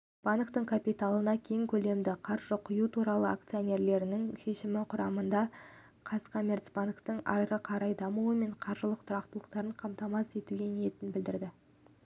банктің капиталына кең көлемді қаржы құю туралы акционерлерінің шешімі құрамында қазкоммерцбанктің ары қарай дамуы мен қаржылық тұрақтылығын қамтамасыз етуге ниетін білдіреді